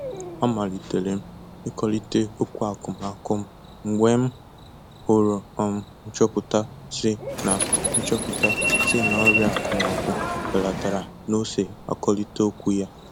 Amalitere m ikọlịte okwu akụmakụ m mgbe m hụrụ um nchọpụta sị na nchọpụta sị na ọrịa akụmakụ belatara na ose akọlitere okwu ya